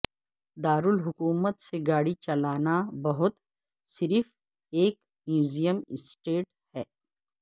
دارالحکومت سے گاڑی چلانا بہت صرف ایک میوزیم اسٹیٹ ہے